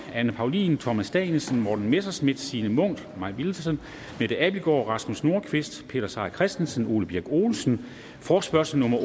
anne paulin thomas danielsen morten messerschmidt signe munk mai villadsen mette abildgaard rasmus nordqvist peter seier christensen og ole birk olesen forespørgsel nummer